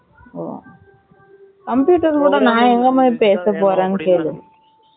Computer கூட நான் எங்க போய் பேச போறான் கேளு